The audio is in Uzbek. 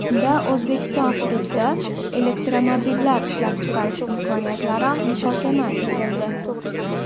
Unda O‘zbekiston hududida elektromobillar ishlab chiqarish imkoniyatlari muhokama etildi.